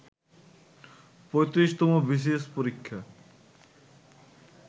৩৫তম BCS পরীক্ষা